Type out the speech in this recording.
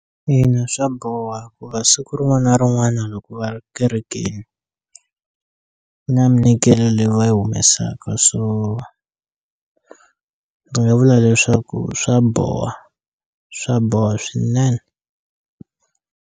Ina swa boha siku rin'wana rin'wana loko va ri kerekeni na ku na minikelo leyi va yi humesaka so ndzi nga vula leswaku swa boha swa boha swinene.